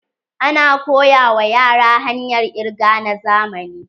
Ana koya wa yara hanyar kirga na zamani.